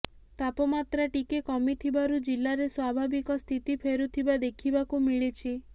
ତାପମାତ୍ରା ଟିକେ କମିଥିବାରୁ ଜିଲ୍ଲାରେ ସ୍ୱାଭାବିକ ସ୍ଥିତି ଫେରୁଥିବା ଦେଖିବାକୁ ମିଳିଛି